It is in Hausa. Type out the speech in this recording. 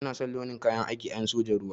Ina son launi na kayan aikin en sojan ruwa.